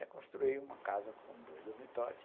Aí construí uma casa com dois dormitórios.